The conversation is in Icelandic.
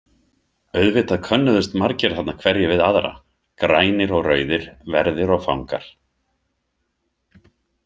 Auðvitað könnuðust margir þarna hverjir við aðra, grænir og rauðir, verðir og fangar.